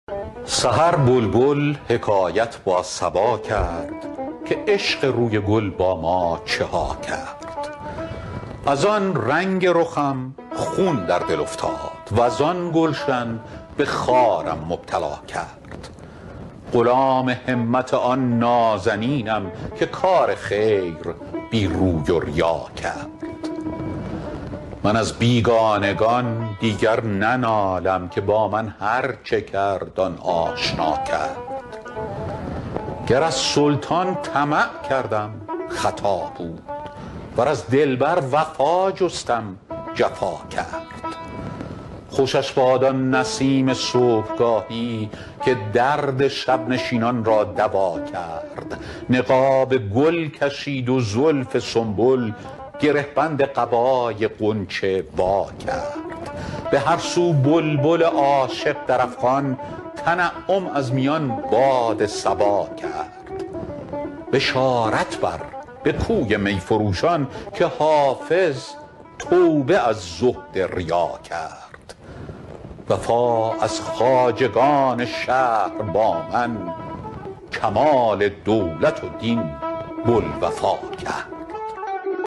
سحر بلبل حکایت با صبا کرد که عشق روی گل با ما چه ها کرد از آن رنگ رخم خون در دل افتاد وز آن گلشن به خارم مبتلا کرد غلام همت آن نازنینم که کار خیر بی روی و ریا کرد من از بیگانگان دیگر ننالم که با من هرچه کرد آن آشنا کرد گر از سلطان طمع کردم خطا بود ور از دلبر وفا جستم جفا کرد خوشش باد آن نسیم صبحگاهی که درد شب نشینان را دوا کرد نقاب گل کشید و زلف سنبل گره بند قبای غنچه وا کرد به هر سو بلبل عاشق در افغان تنعم از میان باد صبا کرد بشارت بر به کوی می فروشان که حافظ توبه از زهد ریا کرد وفا از خواجگان شهر با من کمال دولت و دین بوالوفا کرد